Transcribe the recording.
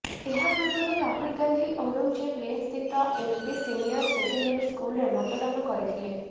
ଏହା ପୂର୍ବରୁ ରାହୁଲ ଗାନ୍ଧୀ ଔରଙ୍ଗଜେବ୍ ଲେନ୍ ସ୍ଥିତ ଏନ୍ପି ସିନିୟର ସେକେଣ୍ଡାରୀ ସ୍କୁଲରେ ମତଦାନ କରିଥିଲେ